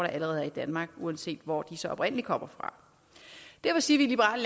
allerede er i danmark uanset hvor de så oprindelig kommer fra derfor siger vi i liberal